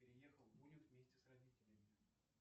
переехал бунин вместе с родителями